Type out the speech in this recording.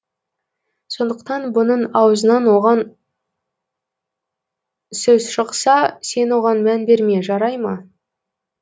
сондықтан бұның аузынан оған сөз шықса сен оған мән берме жарай ма